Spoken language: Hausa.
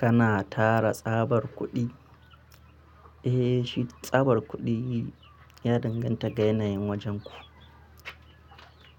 Kana tara tsabar kuɗi? Eh, shi tsabar kuɗi ya danganta ga yanayin wajenku.